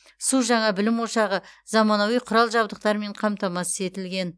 су жаңа білім ошағы заманауи құрал жабдықтармен қамтамасыз етілген